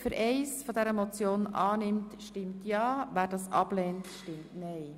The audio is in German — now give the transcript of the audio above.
Wer Ziffer 1 der Motion annimmt, stimmt ja, wer das ablehnt, stimmt nein.